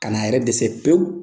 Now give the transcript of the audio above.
Kana a yɛrɛ dɛsɛ pewu